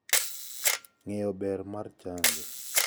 Ng'eyo ber mar chanjo